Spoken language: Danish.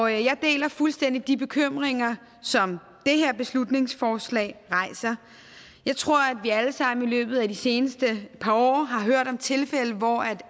jeg deler fuldstændig de bekymringer som det her beslutningsforslag rejser jeg tror at vi alle sammen i løbet af de seneste par år har hørt om tilfælde hvor